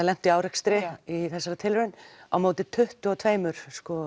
lentu í árekstri í þessari tilraun á móti tuttugu og tvö